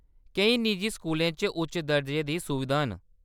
केईं निजी स्कूलें च उच्च दर्जे दियां सुविधां न।